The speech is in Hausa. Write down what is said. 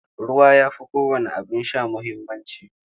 Ruwa ya fi kowanne abin sha muhimmanci.